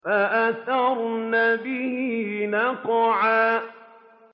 فَأَثَرْنَ بِهِ نَقْعًا